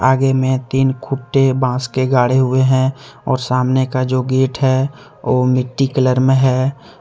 आगे में तीन खुट्टे बांस के गाड़े हुए हैं और सामने का जो गेट है वो मिट्टी कलर मे है।